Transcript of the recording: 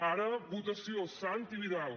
ara votació santi vidal